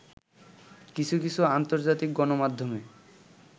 কিছু কিছু আন্তর্জাতিক গণমাধ্যমে